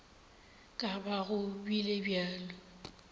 ka ba go bile bjalo